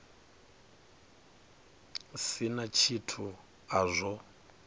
si na tshithu a zwo